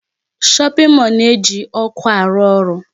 Shopping mall na-eji ọkụ arụ ọrụ.